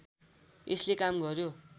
यसले काम गर्‍यो